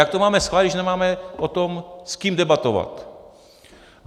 Jak to máme schválit, když nemáme s kým o tom debatovat?